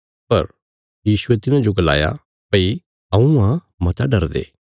पर यीशुये तिन्हांजो गलाया भई हऊँ आ मता डरदे